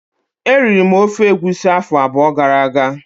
Eriri m ofe egusi afọ abụọ gara aga